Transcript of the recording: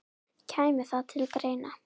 Kæmi það til greina?